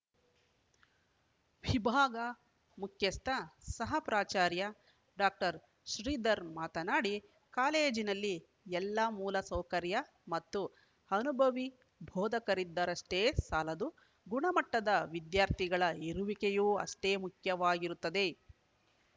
ವಿಭಾಗ ಮುಖ್ಯಸ್ಥ ಸಹ ಪ್ರಾಚಾರ್ಯ ಡಾಕ್ಟರ್ ಶ್ರೀಧರ್‌ ಮಾತನಾಡಿ ಕಾಲೇಜಿನಲ್ಲಿ ಎಲ್ಲಾ ಮೂಲ ಸೌಕರ್ಯ ಮತ್ತು ಅನುಭವಿ ಬೋಧಕರಿದ್ದರಷ್ಟೇ ಸಾಲದು ಗುಣಮಟ್ಟದ ವಿದ್ಯಾರ್ಥಿಗಳ ಇರುವಿಕೆಯೂ ಅಷ್ಟೇ ಮುಖ್ಯವಾಗಿರುತ್ತದೆ